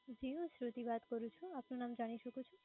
જી હુ શ્રુતિ વાત કરું છુ. આપનું નામ જાણી શકુ છું?